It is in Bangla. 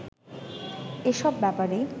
এসব ব্যাপারে